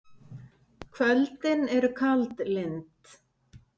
Kvöldin eru kaldlynd.